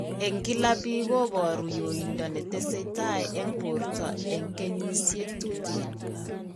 Eng' kila biik kobooru yoindoo netesetai eng' borto eng' kenyisiek tuuten